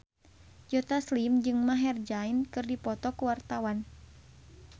Joe Taslim jeung Maher Zein keur dipoto ku wartawan